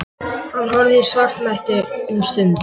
Hann horfði í svartnætti um stund.